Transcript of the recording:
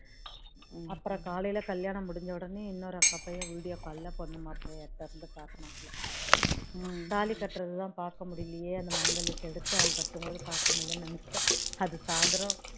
அப்பறோம் காலையில கல்யாணம் முடிஞ்ச உடனே இன்னொரு அக்கா பையன் பொண்ணு மாப்பிளைய video call ல துரந்து காட்டினான் தாலி கட்டுறது தான் பார்க்க முடியலயே அந்த மாங்கல்யத்தை எடுத்து அவன் கட்டும்போது பார்க்க முடியலயேன்னு நினைச்சேன் அது சாய்ந்தரம்